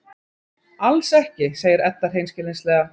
Alls ekki, segir Edda hreinskilnislega.